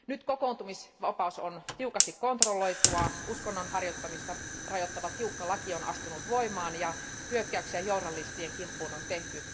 Nyt kokoontumisvapaus on tiukasti kontrolloitua, uskonnon harjoittamista rajoittava tiukka laki on astunut voimaan ja hyökkäyksiä journalistien kimppuun on tehty.